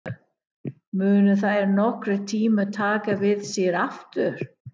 Munu þær nokkurntíma taka við sér aftur?